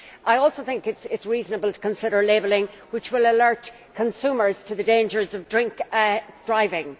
I also think it is reasonable to consider labelling which will alert consumers to the dangers of drink driving.